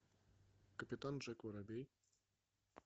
капитан джек воробей